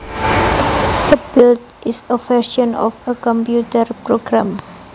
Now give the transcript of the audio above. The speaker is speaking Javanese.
A build is a version of a computer program